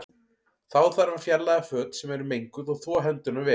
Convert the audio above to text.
Þá þarf að fjarlæga föt sem eru menguð og þvo hendurnar vel.